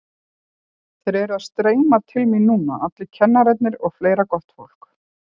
Þeir eru að streyma til mín núna allir kennararnir og fleira gott fólk.